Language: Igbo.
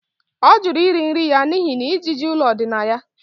Ọ jụrụ iri nri ya n'ihi na ijiji ụlọ dị na ya